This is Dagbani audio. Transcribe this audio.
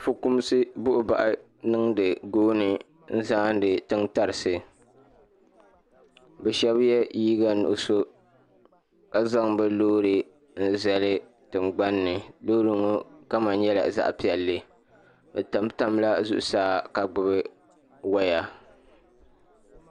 Fukumsi buɣinaɣi niŋdi gooni n zaandi tiŋ tarisi. Bɛ shebi ye liiga niɣiso ka zaŋ bɛ loori n zali tiŋgbani. Loori ŋo kama nyela zaɣ' pielli. Bɛ tam tamla zuɣu saa ka gbubi waya